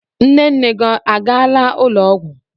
Nne nne gị a gaala ụlọ ọgwụ.